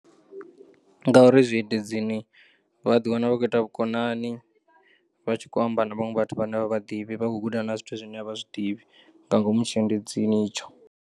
Ngauri zwiendedzini vha ḓiwana vha khou ita vhukonani, vha tshi kho amba na vhaṅwe vhathu vhane a vha vhaḓivhi vha kho guda nga zwithu zwine a vha zwiḓivhi nga ngomu tshiendedzini itsho.